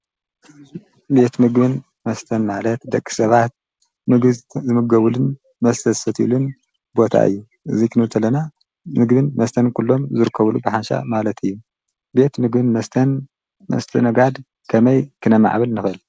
ቤት ምግብን መስተን ማለት ደቂ ሰባት ምግቢ ዝምገብሉን መስተ ዝሰትይሉን ቦታ እዩ፡፡ እዚ ክንብል ከለና ምግብን መስተን ኩሎም ዝርከብሉ ብሓንሻዕ ማለት እዩ፡፡ ቤት ምግብን መስተን ምስትእንጋድ ከመይ ክነማዕብል ንክእል?